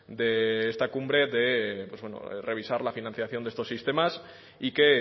de esta cumbre de revisar la financiación de estos sistemas y que